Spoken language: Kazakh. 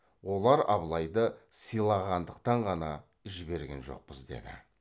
олар абылайды сыйлағандықтан ғана жіберген жоқпыз деді